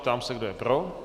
Ptám se, kdo je pro.